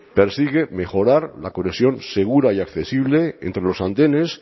persigue mejorar la conexión segura y accesible entre los andenes